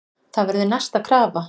Það verður næsta krafa.